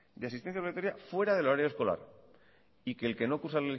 de asistencia obligatoria fuera del horario escolar y que el que no cursa